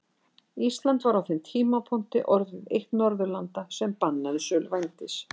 Ísland var á þeim tímapunkti orðið eitt Norðurlanda sem bannaði sölu vændis.